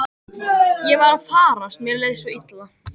Ég var að farast, mér leið svo illa.